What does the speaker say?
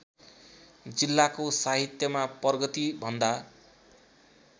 जिल्लाको साहित्यमा प्रगतिभन्दा